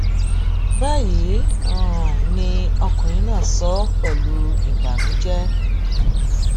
báyìí um ni ọkùnrin náà sọ pẹlú ìbànújẹ